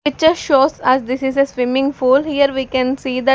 Picture shows us this is a swimming pool here we can see that--